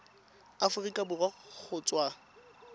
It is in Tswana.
aforika borwa kgotsa go tswa